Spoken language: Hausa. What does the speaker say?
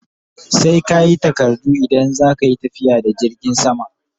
Sai kayi takardu idan zaka Yi tafiya da jirgin sama